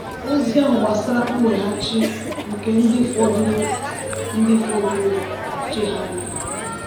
Ozi ahụ gbasara mweghachi nke ndị fọdụrụ ndị fọdụrụ chegharịrị.